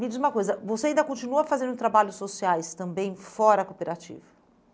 Me diz uma coisa, você ainda continua fazendo trabalhos sociais também fora cooperativo?